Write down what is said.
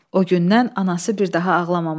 O gündən anası bir daha ağlamamışdı.